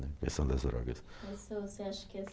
na questão das drogas, Mas, você acha que as